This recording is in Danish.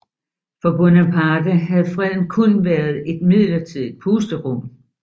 For Bonaparte havde freden kun været et midlertidigt pusterum